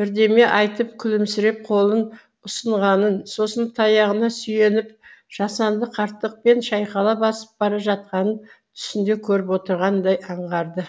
бірдеме айтып күлімсіреп қолын ұсынғанын сосын таяғына сүйеніп жасанды қарттықпен шайқала басып бара жатқанын түсінде көріп отырғандай аңғарды